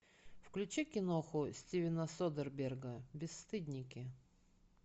включи киноху стивена содерберга бесстыдники